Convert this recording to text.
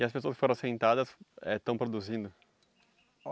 E as pessoas que foram assentadas eh estão produzindo?